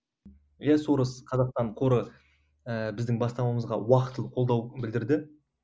иә сорос қазақстан қоры ііі біздің бастамамызға уақытылы қолдау білдірді